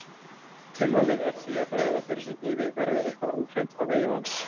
Tilvalið er því að bregða fyrir sig hnífi verði eitthvað óhreint á vegi manns.